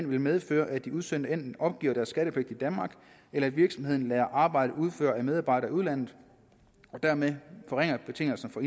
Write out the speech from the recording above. vil medføre at de udsendte opgiver deres skattepligt i danmark eller at virksomheden lader arbejdet udføre af en medarbejder i udlandet og dermed forringer betingelserne for